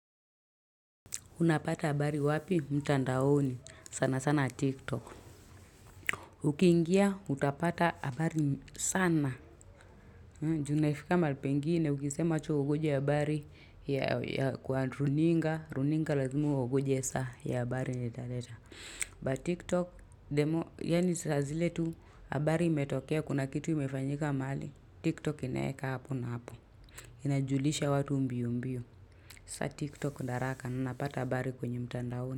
Unapata habari wapi? Mtandaoni. Sana sana tiktok. Ukiingia utapata habari sana. Ju naifika mahali pengine ukisema acha ungoje habari ya kwa runinga. Runinga lazima uongoje saa ya a habari yenye italeta. But tiktok demo yaani saa zile tu habari imetokea kuna kitu imefanyika mahali. Tiktok inaeka hapo na hapo. Inajulisha watu mbio mbio. Sa tiktok ni haraka. Unapata habari kwenye mtandaoni.